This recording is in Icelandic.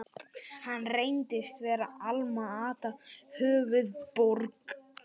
Hann reyndist vera Alma-Ata, höfuðborg